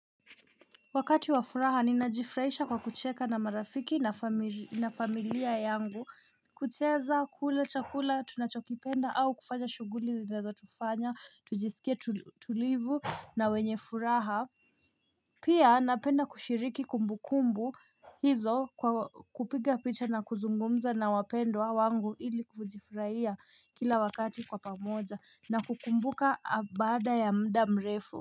Wakati wa furaha ninajifraisha kwa kucheka na marafiki na familia yangu kucheza kula chakula tunachokipenda au kufanya shughuli zinazotufanya tujisikie tulivu na wenye furaha Pia napenda kushiriki kumbukumbu hizo kupiga picha na kuzungumza na wapendwa wangu ili kujifraia kila wakati kwa pamoja na kukumbuka baada ya mda mrefu.